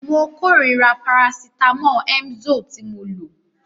Mo kórira parasítámọ̀ Emzoe tí mo lò.